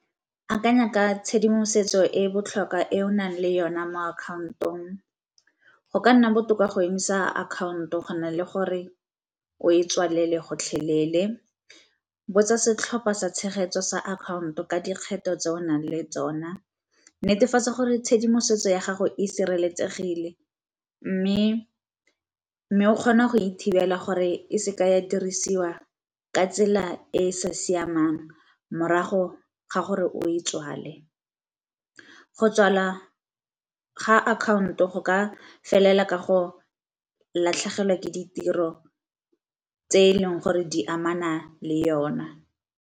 Akanya ka tshedimosetso e e botlhokwa e o nang le yona mo-account-ong go ka nna botoka go emisa account-o go na le gore o e tswalele gotlhelele, botsa setlhopha sa tshegetso sa account-o ka dikgetho tse o nang le tsona, netefatsa gore tshedimosetso ya gago e sireletsegile, mme o kgona go e thibelala gore e seke ya dirisiwa ka tsela e e sa siamang morago ga gore o e tswale, go tswala ga akhaonto go ka felela ka go latlhegelwa ke ditiro tse eleng gore di amana le yone.